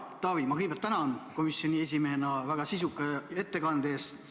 Hea Taavi, ma kõigepealt tänan komisjoni esimehena sind väga sisuka ettekande eest.